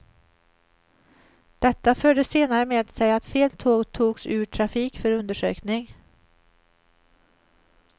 Detta förde senare med sig att fel tåg togs ur trafik för undersökning.